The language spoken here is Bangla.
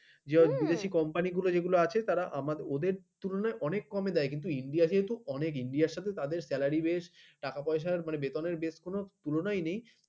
ইয়া বিদেশি কোম্পানি যেগুলো আছে তারা আমাদের ওদের তুলনায় অনেক কমে দেয় কিন্তু india যেহেতু অনেক india র সাথে অনেক salary বেশ টাকা পয়সা বেতনে বেশগুলো তুলনাই নেই